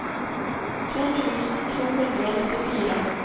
to tusen to hundre og nittifire